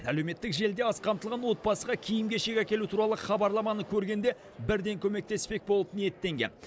әлеуметтік желіде аз қамтылған отбасыға киім кешек әкелу туралы хабарламаны көргенде бірден көмектеспек болып ниеттенген